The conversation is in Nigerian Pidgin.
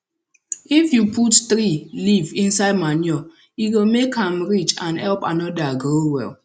if you put tree leaf inside manure e go make am rich and help another grow well